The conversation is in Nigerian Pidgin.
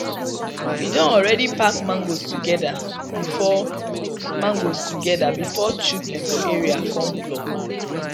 we don already pack mangoes together before mangoes together before children for area come pluck